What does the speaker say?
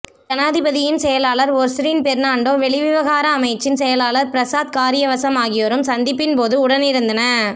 ஜனாதிபதியின் செயலாளர் ஒஸ்ரின் பெர்ணான்டோ வெளிவிவகார அமைச்சின் செயலாளர் பிரசாத் காரியவசம் ஆகியோரும் சந்திப்பின்போது உடனிருந்தன